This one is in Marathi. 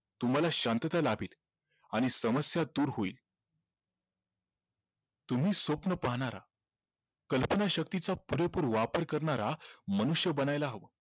तुम्हाला शांतता लाभेल आणि समस्या दूर होईल तुम्ही स्वप्न पाहणारा कल्पनाशक्तीचा पुरेपूर वापर करणारा मनुष्य बनायला हवं